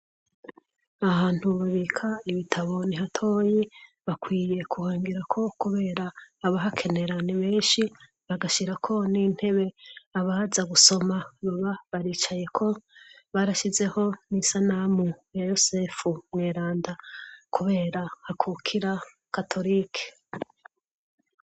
Ahantu babika ibitabo nihatoyi bakwiye kuhongerako kubera abahakenera ni benshi bagashirako n'intebe abaza gusoma baba baricayeko, barashizeho n'isanamu ya yozefu mweranda kubera akukira katorike.